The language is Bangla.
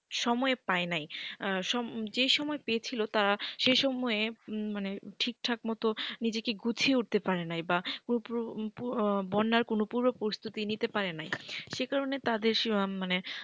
সময় পায় নাই যে সময় পেয়েছিল তারা সেই সময় মানে ঠিকঠাক মতো নিজেকে গুছিয়ে উঠতে পারে নাই বা পুরো বন্যার পূর্ব প্রস্তুতি নিতে পারে নাই সে কারণে তাদের মানে,